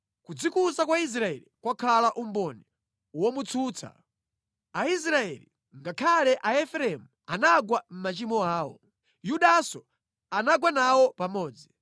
Kudzikuza kwa Israeli kwakhala umboni womutsutsa; Aisraeli, ngakhale Aefereimu, anagwa mʼmachimo awo; Yudanso anagwa nawo pamodzi.